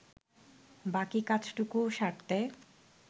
বাকি কাজটুকু সারতে